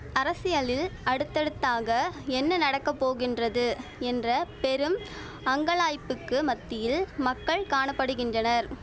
அரசியலில் அடுத்தடுத்தாக என்ன நடக்க போகின்றது என்ற பெரும் அங்கலாய்ப்புக்கு மத்தியில் மக்கள் காண படுகின்றனர்